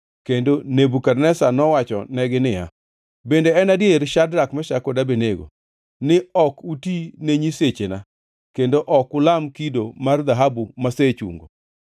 kendo Nebukadneza nowachonegi niya, “Bende en adier, Shadrak, Meshak kod Abednego, ni ok uti ne nyisechena kendo ok ulam kido mar dhahabu masechungo?